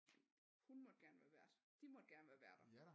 Hun måtte gerne være vært de måtte gerne være værter